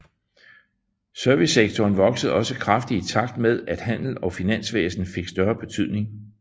Servicesektoren voksede også kraftigt i takt med at handel og finansvæsen fik større betydning